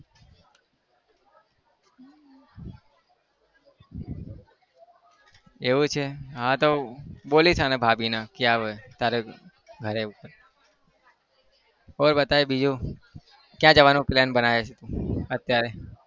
એવું છે હા તો બોલીશ હવે ભાભીને કે આવે તારા ઘરે और बताय બીજું કયા જવાનો પ્લાન બનયો છે અત્યારે?